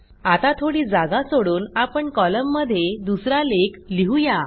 आता थोडी जागा सोडून आपण कॉलममध्ये दुसरा लेख लिहू या